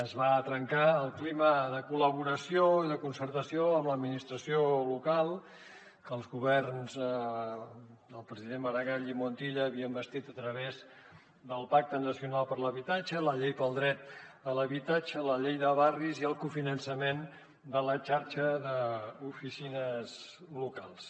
es va trencar el clima de col·laboració i de concertació amb l’administració local que els governs dels presidents maragall i montilla havien bastit a través del pacte nacional per a l’habitatge la llei pel dret a l’habitatge la llei de barris i el cofinançament de la xarxa d’oficines locals